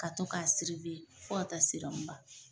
Ka to k'a fo ka ta ban.